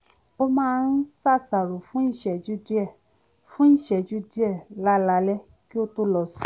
ó máa ń ṣàṣàrò fún ìṣẹ́jú díẹ̀ fún ìṣẹ́jú díẹ̀ lálaalẹ́ kí ó tó lọ sùn